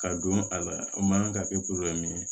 Ka don a la o man kan ka kɛ ye